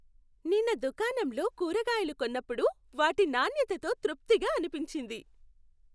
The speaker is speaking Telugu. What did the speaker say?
నిన్న దుకాణంలో కూరగాయలు కొన్నప్పుడు వాటి నాణ్యతతో తృప్తిగా అనిపించింది.